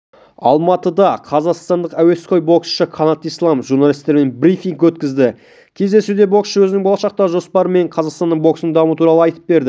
алматыда қазақстандық әуесқой боксшы қанат ислам журналистермен брифинг өткізді кездесуде боксшы өзінің болашақтағы жоспары және қазақстандық бокстың дамуы туралы айтып берді